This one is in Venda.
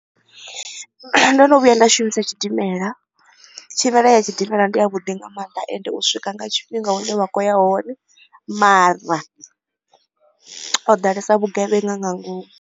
Ndo no vhuya nda shumisa tshidimela tshumelo ya tshidimela ndi ya vhuḓi nga mannḓa ende u swika nga tshifhinga hune wa khoya hone mara ho ḓalesa vhugevhenga nga ngomu.